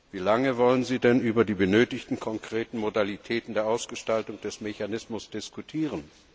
Wie lange wollen Sie denn über die benötigten konkreten Modalitäten der Ausgestaltung des Mechanismus diskutieren?